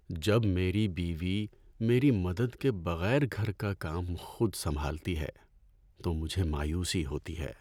جب میری بیوی میری مدد کے بغیر گھر کا کام خود سنبھالتی ہے تو مجھے مایوسی ہوتی ہے۔